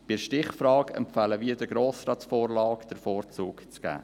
Bei der Stichfrage empfehlen wir, der Grossratsvorlage den Vorzug zu geben.